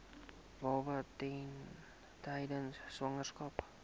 baba tydens swangerskap